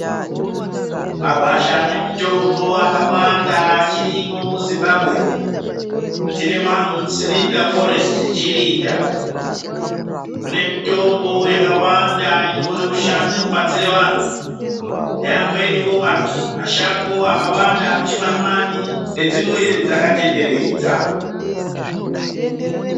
Magwasha ane mitombo akawanda achirimwo muZimbabwe, tine Maundi Selinda foresiti Chirinda, mune mitombo yakawanda inokone kubatsira vanhu namweniwo mashango akawanda Ari muChimanimani nedzimwe dzakatenderwdza.